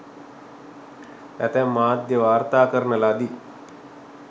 ඇතැම් මාධ්‍ය වාර්තා කරන ලදි.